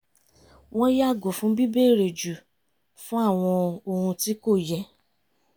wọ́n yàgò fún bíbèrè jù fún àwọn ohun tí kò yẹ